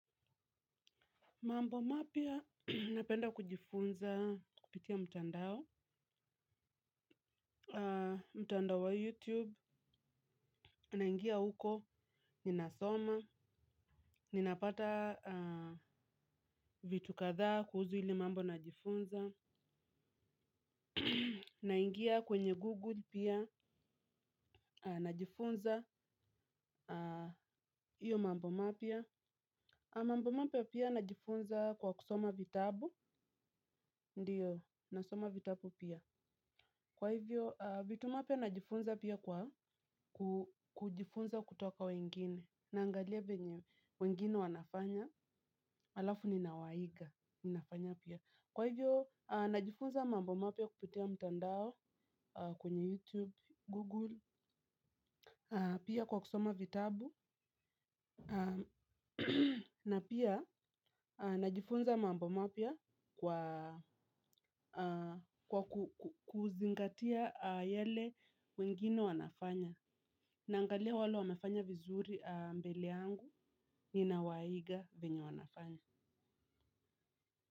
Mambo mapya napenda kujifunza kupitia mtandao, mtandao wa youtube, naingia huko ninasoma, ninapata vitu kadhaa kuhusu ile mambo najifunza. Naingia kwenye google pia najifunza hiyo mambo mapya. Mambo mapya pia najifunza kwa kusoma vitabu, ndiyo, nasoma vitabu pia. Kwa hivyo, vitu mapya najifunza pia kwa kujifunza kutoka kwa wengine, naangalia vyenye wengine wanafanya, alafu ninawaiga, ninafanya pia. Kwa hivyo, najifunza mambo mapya kupitia mtandao kwenye YouTube, Google, pia kwa kusoma vitabu. Na pia najifunza mambo mapya kwa kuzingatia yale wengine wanafanya. Naangalia wale wamefanya vizuri mbele yangu ninawaiga vyenye wanafanya.